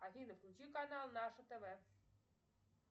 афина включи канал наше тв